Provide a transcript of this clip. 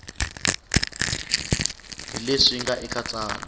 hi leswi nga eka tsalwa